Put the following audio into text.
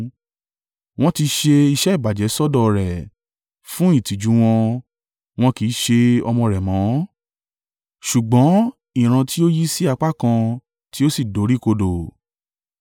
Wọ́n ti ṣe iṣẹ́ ìbàjẹ́ sọ́dọ̀ ọ rẹ̀; fún ìtìjú u wọn, wọn kì í ṣe ọmọ rẹ̀ mọ́, ṣùgbọ́n ìran tí ó yí sí apá kan tí ó sì dorí kodò.